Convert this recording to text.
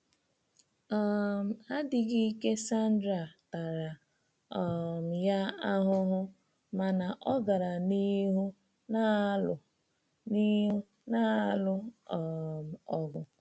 um Adịghị ike Sandra tara um ya ahụhụ, mana ọ gara n’ihu na-alụ n’ihu na-alụ um ọgụ.